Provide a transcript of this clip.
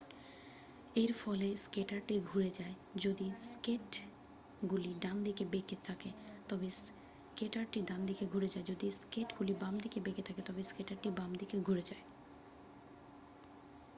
এর ফলে স্কেটারটি ঘুরে যায় যদি স্কেটগুলি ডানদিকে বেঁকে থাকে তবে স্কেটারটি ডানদিকে ঘুরে যায় যদি স্কেটগুলি বাম দিকে বেঁকে থাকে তবে স্কেটারটি বাম দিকে ঘুরে যায়